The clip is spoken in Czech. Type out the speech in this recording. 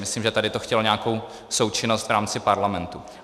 Myslím, že tady to chtělo nějakou součinnost v rámci parlamentu.